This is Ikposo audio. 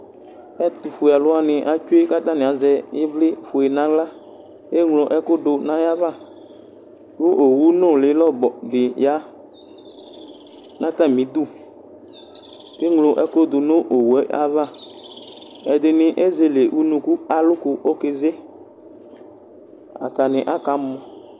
Ɛtʋfuɛ alʋ wani etsue kʋ atani azɛ ivli fue nʋ aɣla eŋlo ɛkʋdʋ nʋ ayava kʋ owʋ nuli lɔbɔ diya nʋ atami idu eŋlo ɛkʋdʋ nʋ owʋ ayava ɛdini ezeleʋnʋkʋ kʋ alʋkʋ okeze atani aka mɔ